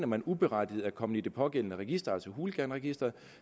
man uberettiget er kommet i det pågældende register altså hooliganregisteret